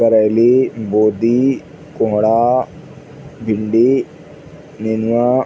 करैली बोदी कोहड़ा भिंडी नेनुआ --